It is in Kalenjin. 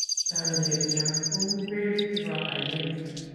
chamiet nyo ko u pek chebo ainet